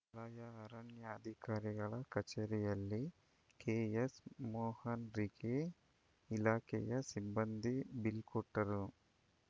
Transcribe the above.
ವಲಯ ಅರಣ್ಯಾಧಿಕಾರಿಗಳ ಕಚೇರಿಯಲ್ಲಿ ಕೆಎಸ್‌ ಮೋಹನ್‌ರಿಗೆ ಇಲಾಖೆಯ ಸಿಬ್ಬಂದಿ ಬೀಳ್ಕೊಟ್ಟರು